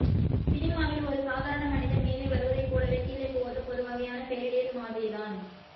சினிமாவில் ஒரு சாதாரண மனிதன் மேலே வருவதைப்போலவெ கீழே போவதும் ஒருவகையான ஃபெயரிடேல் மாதிரிதான்